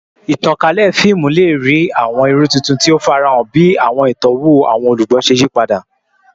Itankalẹ fiimu le rii awọn iru tuntun ti o farahan bi awọn itọwo awọn olugbo ṣe yipada